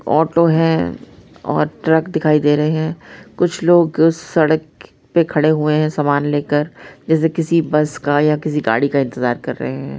Auto हैं और truck दिखाई दे रहे हैं | कुछ लोग सड़क पे खड़े हुए हैं समान लेकर जैसे किसी बस का या किसी का गाड़ी का इंतज़ार कर रहे हैं।